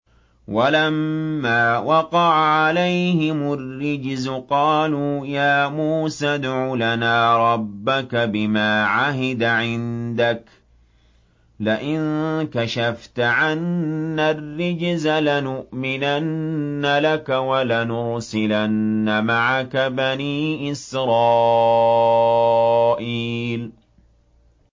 وَلَمَّا وَقَعَ عَلَيْهِمُ الرِّجْزُ قَالُوا يَا مُوسَى ادْعُ لَنَا رَبَّكَ بِمَا عَهِدَ عِندَكَ ۖ لَئِن كَشَفْتَ عَنَّا الرِّجْزَ لَنُؤْمِنَنَّ لَكَ وَلَنُرْسِلَنَّ مَعَكَ بَنِي إِسْرَائِيلَ